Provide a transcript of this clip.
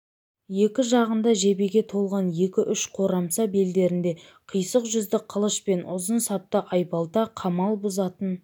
екі жағында жебеге толған екі-үш қорамса белдерінде қисық жүзді қылыш пен ұзын сапты айбалта қамал бұзатын